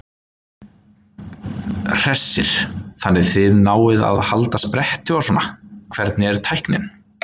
Hersir: Þannig þið náið að halda spretti og svona, hvernig er tæknin?